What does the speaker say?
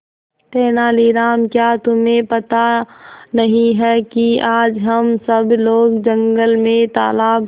तेनालीराम क्या तुम्हें पता नहीं है कि आज हम सब लोग जंगल में तालाब